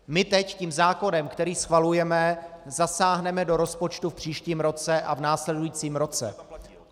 My teď tím zákonem, který schvalujeme, zasáhneme do rozpočtu v příštím roce a v následujícím roce.